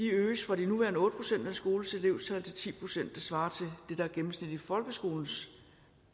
øges fra de nuværende otte procent af en skoles elevtal til ti procent det svarer til det der er gennemsnittet i folkeskolens